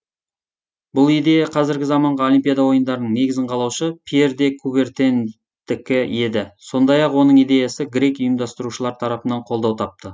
бұл идея қазіргі заманғы олимпиада ойындарының негізін қалаушы пьер де кубертендікі еді сондай ақ оның идеясы грек ұйымдастырушылар тарапынан қолдау тапты